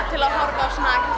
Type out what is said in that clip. til að horfa á